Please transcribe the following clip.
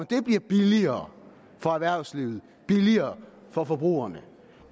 det bliver billigere for erhvervslivet og billigere for forbrugerne